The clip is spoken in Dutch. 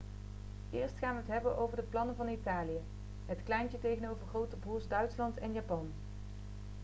eerst gaan we het hebben over de plannen van italië het kleintje tegenover grote broers' duitsland en japan